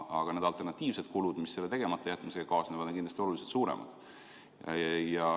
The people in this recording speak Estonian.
Aga need alternatiivsed kulud, mis otsuse tegematajätmisega kaasnevad, on kindlasti oluliselt suuremad.